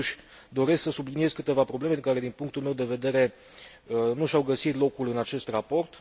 Totuși, doresc să subliniez câteva probleme care, din punctul meu de vedere, nu și au găsit locul în acest raport.